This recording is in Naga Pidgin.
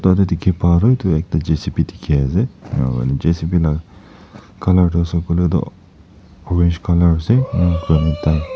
pa toh edu ekta J c b dikhiase J c b la colour toh ase koilae tu orange colour ase ena kurina.